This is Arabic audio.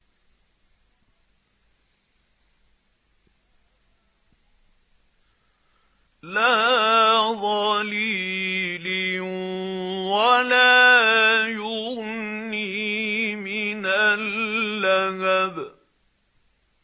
لَّا ظَلِيلٍ وَلَا يُغْنِي مِنَ اللَّهَبِ